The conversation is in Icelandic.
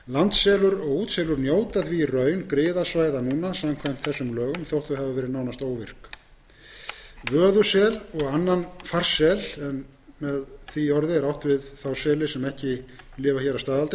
og útselur njóta því í raun griðasvæða núna samkvæmt lögum þótt þau hafi verið nánast óvirk vöðusel og annan farsel en með því orði er átt við þá seli sem ekki lifa hér að staðaldri